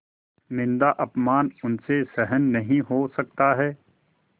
निन्दाअपमान उनसे सहन नहीं हो सकता है